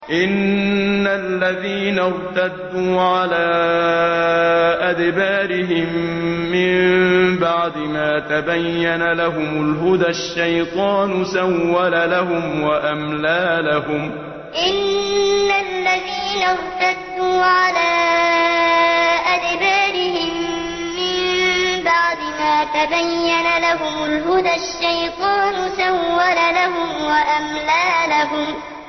إِنَّ الَّذِينَ ارْتَدُّوا عَلَىٰ أَدْبَارِهِم مِّن بَعْدِ مَا تَبَيَّنَ لَهُمُ الْهُدَى ۙ الشَّيْطَانُ سَوَّلَ لَهُمْ وَأَمْلَىٰ لَهُمْ إِنَّ الَّذِينَ ارْتَدُّوا عَلَىٰ أَدْبَارِهِم مِّن بَعْدِ مَا تَبَيَّنَ لَهُمُ الْهُدَى ۙ الشَّيْطَانُ سَوَّلَ لَهُمْ وَأَمْلَىٰ لَهُمْ